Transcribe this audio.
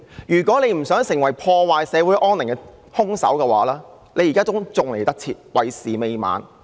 如果局長不想成為破壞社會安寧的兇手，現在還趕得及，為時未晚。